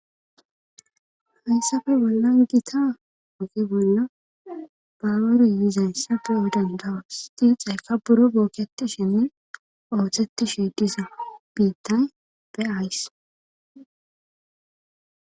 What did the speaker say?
Hayssafe bollan gita oge bolna baware yizayssafe odan dawasti xayka buro booketi shenne ooththeti sheedisza biittay be ayss.